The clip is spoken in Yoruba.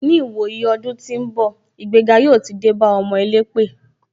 Ni ìwòyí ọdún tí ń bọ̀, ìgbéga yóò ti dé bá ọmọ elépè.